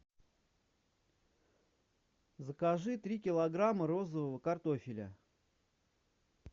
закажи три килограмма розового картофеля